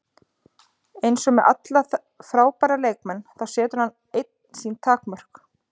Eins og með alla frábæra leikmenn, þá setur hann einn sín takmörk.